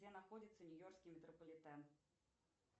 где находится нью йоркский метрополитен